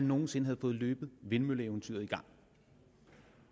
nogen sinde havde fået løbet vindmølleeventyret i gang